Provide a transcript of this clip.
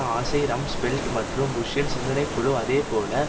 ஆசை Rumsfeld மற்றும் புஷ்சின் சிந்தனை குழு அதேபோல